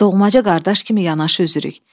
Doğmaca qardaş kimi yanaşı üzürük.